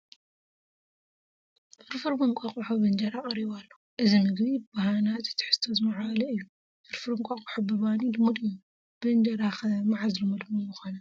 ፍርፍር እንቋቑሖ ብእንጀራ ቀሪቡ ኣሎ፡፡ እዚ ምግቢ ብሃናፂ ትሕዝቶ ዝማዕበለ እዩ፡፡ ፍርፍር እንቋቑሖ ብባኒ ልሙድ እዩ፡፡ ብእንጀራ ኸ መዓዝ ልሙድ ምግቢ ኮነ?